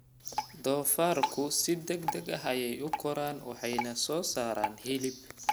Doofaarku si degdeg ah ayey u koraan waxayna soo saaraan hilib.